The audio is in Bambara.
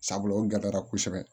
Sabula o gɛlɛyara kosɛbɛ